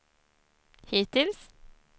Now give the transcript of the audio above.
hittills